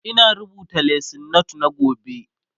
Ina rubuta lesson note na gobe